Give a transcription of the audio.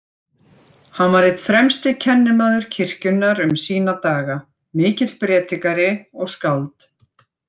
Hann var einn fremsti kennimaður kirkjunnar um sína daga, mikill prédikari og skáld.